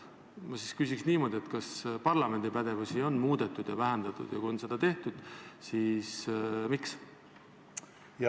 Ma küsin niimoodi: kas parlamendi pädevust on muudetud ja vähendatud ja kui seda on tehtud, siis miks?